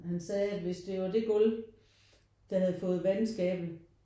Han sagde at hvis det var det gulv der havde fået vandskade